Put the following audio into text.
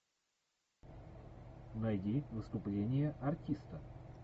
найди выступление артиста